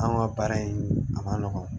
An ka baara in a man nɔgɔn